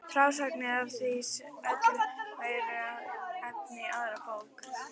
Frásagnir af því öllu væru efni í aðra bók.